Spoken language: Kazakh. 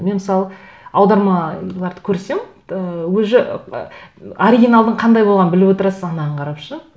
мен мысалы аудармаларды көрсем ыыы уже ыыы оригиналдың қандай болғанын біліп отырасың анаған қарап